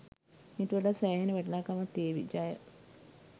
මීට වඩා සෑහෙන වටිනාකමක් තියේවි! ජය! ..